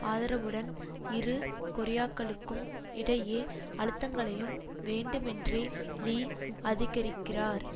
ஆதரவுடன் இரு கொரியாக்களுக்கும் இடையே அழுத்தங்களையும் வேண்டுமேன்றே லீ அதிகரிக்கிறார்